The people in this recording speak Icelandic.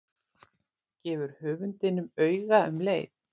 Gefur höfundinum auga um leið.